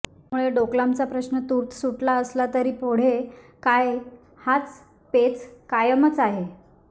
त्यामुळे डोकलामचा प्रश्न तूर्त सुटला असला तरी पुढे काय हाच पेच कायमच आहे